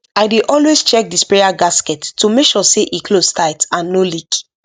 i dey always check the sprayer gasket to make sure e close tight and no leak